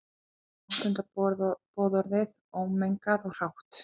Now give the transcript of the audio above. Ekki áttunda boðorðið, ómengað og hrátt.